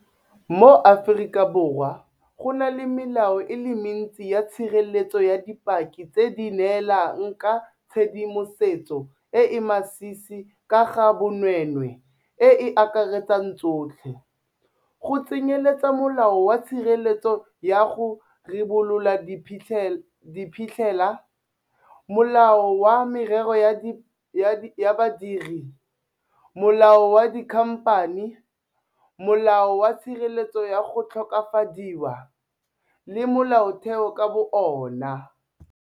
Mo Aforika Borwa go na le melao e le mentsi ya tshireletso ya dipaki tse di neelang ka tshedimosetso e e masisi ka ga bonweenwee e e akaretsang tsotlhe, go tsenyeletsa Molao wa Tshireletso ya go Ribolola Diphitlhela, Molao wa Merero ya Badiri, Molao wa Dikhamphani, Molao wa Tshireletso ya go Tlhokofadiwa, le Molaotheo ka bo ona.